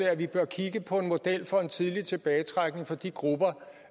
at vi bør kigge på en model for en tidlig tilbagetrækning for de grupper